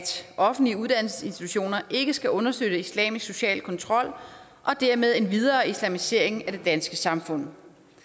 offentlige uddannelsesinstitutioner ikke skal understøtte islamisk social kontrol og dermed en videre islamisering af det danske samfund